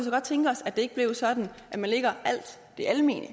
godt tænke os at det ikke blev sådan at man lægger alt det almene